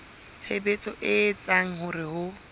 tshebetso e etsang hore ho